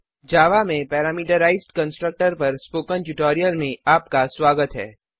जावा में parameterised constructor पर spoken tutorial में आपका स्वागत है